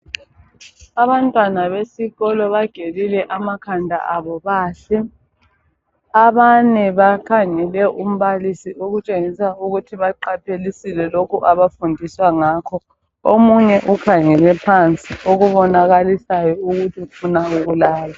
Abantwana besikolo bagelile amakhanda abo bahle. Abanye bakhangele umbalisi okutshengisa ukuthi baqaphelisile lokho abafundisa ngakho. Omunye ukhangele phansi okubonakalisayo ukuthi ufuna ukulala.